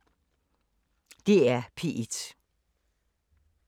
DR P1